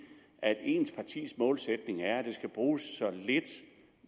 at ens partis målsætning er at der skal bruges så lidt